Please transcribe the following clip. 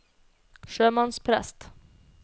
sjømannsprest